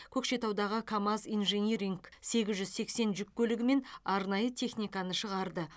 көкшетаудағы камаз инжиниринг сегіз жүз сексен жүк көлігі мен арнайы техниканы шығарды